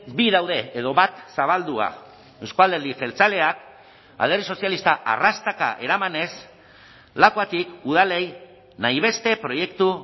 bi daude edo bat zabaldua euzko alderdi jeltzaleak alderdi sozialista arrastaka eramanez lakuatik udalei nahi beste proiektu